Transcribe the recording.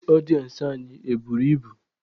Ndị ọdịensị anyị e buru ibu?